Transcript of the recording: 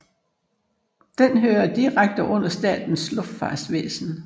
Den hører direkte under Statens Luftfartsvæsen